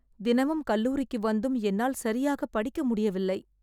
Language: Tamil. தினமும் கல்லூரிக்கு வந்தும் என்னால் சரியாக படிக்க முடியவில்லை